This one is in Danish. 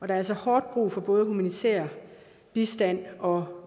er altså hårdt brug for både humanitær bistand og